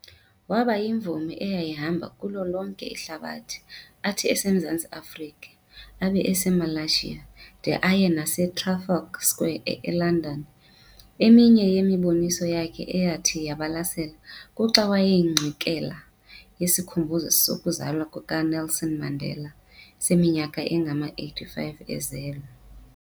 Waba yimvumi eyayihamba kulo lonke ihlabathi, athi eseMzantsi Afrika abe eseMalaysia de aye nase Trafalgar Square eLondon, eminye yemiboniso yakhe eyathi yabalasela kuxa wayekwingxikela yesikhumbuzo sokuzalwa kukaNelson Mandela seminyaka engama85 ezelwe.